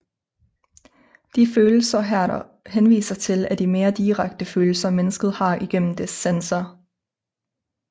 De følelser Herder henviser til er de mere direkte følelser mennesket har igennem dets sanser